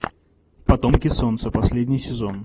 потомки солнца последний сезон